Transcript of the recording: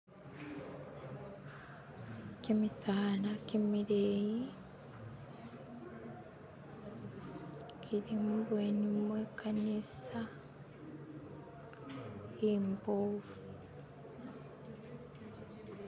kimisaala kimileyi kilimubweni mwekanisa imbofu